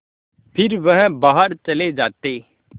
फिर वह बाहर चले जाते